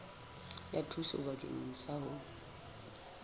ya thuso bakeng sa ho